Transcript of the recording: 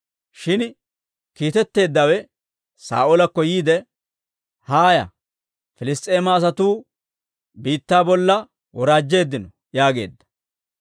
Shin kiitetteeddawe Saa'oolakko yiide, «Haaya! Piliss's'eema asatuu biittaa bolla woraajjeeddino» yaageedda.